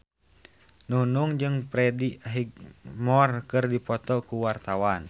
Nunung jeung Freddie Highmore keur dipoto ku wartawan